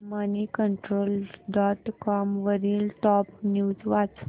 Moneycontrol dot com वरील top news वाच